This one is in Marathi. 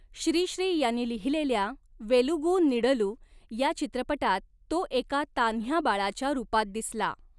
श्री श्री यांनी लिहिलेल्या 'वेलुगु नीडलू' या चित्रपटात तो एका तान्ह्या बाळाच्या रूपात दिसला.